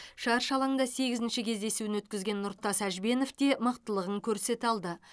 шаршы алаңда сегізінші кездесуін өткізген нұртас әжбенов те мықтылығын көрсете алды